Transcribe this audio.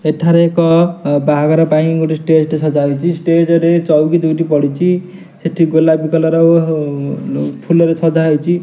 ଏଠାରେ ଏକ ବାହାଘର ପାଇଁ ଗୋଟିଏ ଷ୍ଟେଜ ଗୋଟିଏ ସଜାହେଇଚି। ଷ୍ଟେଜ ରେ ଚୌକି ଦୁଇଟି ପଡ଼ିଛି। ସେଠି ଗୋଲାପି କଲର୍ ଫୁଲରେ ସଜାହେଇଛି।